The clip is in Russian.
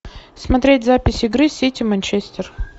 смотреть запись игры сити манчестер